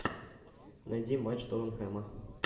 найди матч тоттенхэма